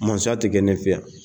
Musoya te kɛ ne fɛ yan.